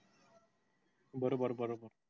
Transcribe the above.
बरोबर बरोबर